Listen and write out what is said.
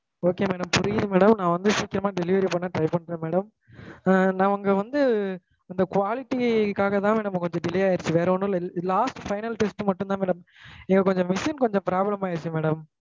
okay madam புரியுது madam நான் வந்து சீக்கரமா delivery பண்ண try பன்ரே madam நாங்க வந்து அந்த quality க்காஹ தான் madam கொஞ்சம் delay ஆகிடுச்சு வேற ஒன்னும் இல்ல last final test மட்டும் தான் madam எங்களுக்கு கொஞ்சம் machine problem ஆகிடுச்சு madam